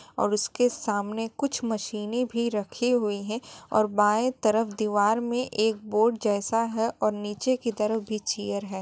और उसके सामने कुछ मशीने भी रखी हुयी है और बाए तरफ दीवार में एक बोर्ड जैसा है और नीचे की तरफ भी चीर है।